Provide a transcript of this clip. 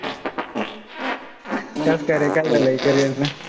कस काय रे, काय झालंय carrier च?